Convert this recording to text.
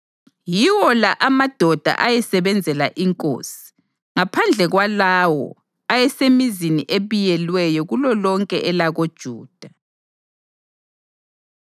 Yiwo la amadoda ayesebenzela inkosi, ngaphandle kwalawo ayesemzini ebiyelweyo kulolonke elakoJuda.